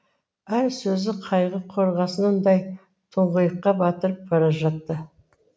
әр сөзі қайғы қорғасынындай тұңғиыққа батырып бара жатты